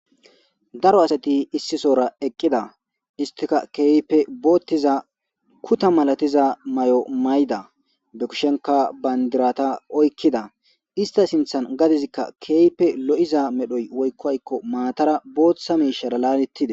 daro asati issisora eqqida istika keeype boottiza kuta malatiza may7o mayda dokishenka bayndirata oykkida ista sinthan gadizikka keeype lo7iza medhoy woykkoykko maatara booththa miishara laanetide